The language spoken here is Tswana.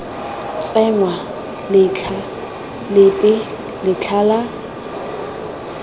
tsenngwa letlha lepe letlha la